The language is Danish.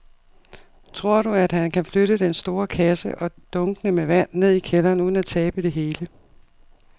Tror du, at han kan flytte den store kasse og dunkene med vand ned i kælderen uden at tabe det hele?